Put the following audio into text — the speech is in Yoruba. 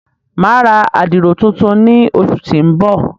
Mà a ra àdiro tùntùn ni óṣu ti n bọ.